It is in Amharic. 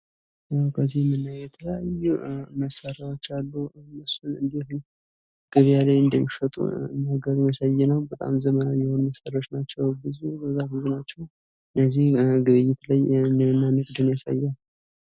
ከዚህ የምናየው የተለያዩ መሳሪያዎች አሉ። እነሱ እንዴት ገበያ ላይ እንደሚሸጡ የሚያሳይ ነው። በጣም ዘመናዊ የሆኑ መሳሪያዎች ናቸው ።ብዙ በጣም ብዙ ናቸው። እነዚህ ግብይት ላይ እና ንግድን ያሳያል።